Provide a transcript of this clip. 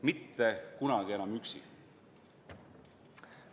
Mitte kunagi enam üksi!